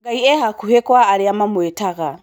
Ngai e hakuhĩ kwa arĩa mamwĩtaga